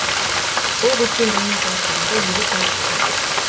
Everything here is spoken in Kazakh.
бұл өткен жылмен салыстырғанда елу пайызға артық